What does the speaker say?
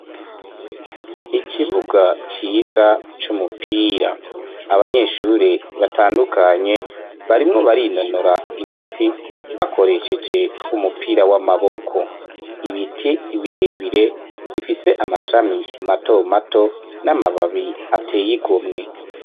Ikibuga ciza c'umupira abanyeshuri batandukanye barimwo barinonora imitsi bakoresheje umupira w'amaboko ibiti birebire bifise amashami mato mato n'amababi ateyigomwe.